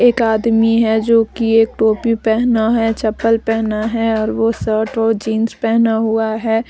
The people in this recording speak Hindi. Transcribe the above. एक आदमी है जो की एक टोपी पहना है चप्पल पहना है और वो शर्ट और जींस पहना हुआ है।